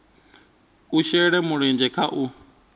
a shele mulenzhe kha u